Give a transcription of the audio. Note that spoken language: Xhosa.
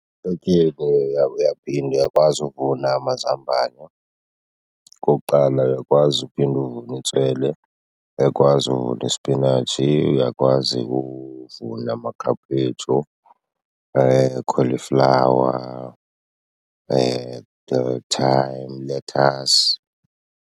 Ehlotyeni uyaphinda uyakwazi uvuna amazambane okokuqala, uyakwazi uphinda uvune itswele, uyakwazi uvuna isipinatshi. Uyakwazi ukuvuna amakhaphetshu, i-cauliflower, ilethasi.